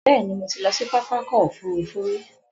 Bẹ́ẹ̀ni, mo ti lọ sí pápákọ̀ òfurufú rí.